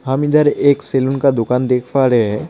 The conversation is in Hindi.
हम इधर एक सैलून का दुकान देख पा रहे हैं।